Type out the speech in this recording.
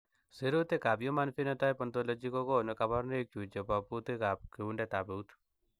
Sirutikab Human Phenotype Ontology kokonu koborunoikchu chebo butekab kutundab eut.